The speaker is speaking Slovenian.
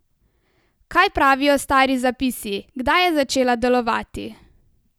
Kaj pravijo stari zapisi, kdaj je začela delovati?